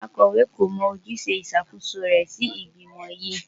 Akọ̀wé kò mọ ojúṣe ìṣàkóso rẹ̀ sí ìgbìmò yìí.